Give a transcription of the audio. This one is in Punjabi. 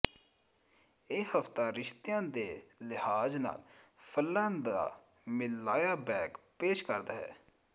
ਇਹ ਹਫਤਾ ਰਿਸ਼ਤਿਆਂ ਦੇ ਲਿਹਾਜ਼ ਨਾਲ ਫਲਾਂ ਦਾ ਮਿਲਾਇਆ ਬੈਗ ਪੇਸ਼ ਕਰਦਾ ਹੈ